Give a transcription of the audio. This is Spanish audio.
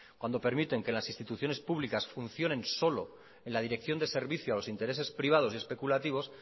cuando permiten que las instituciones públicas funcionen solo en la dirección de servicio a los intereses privado y especulativos